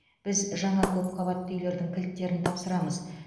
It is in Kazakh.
біз жаңа көпқабатты үйлердің кілттерін тапсырамыз